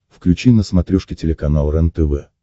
включи на смотрешке телеканал рентв